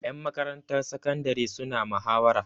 Ƴan makarantar sakandare suna mahawara.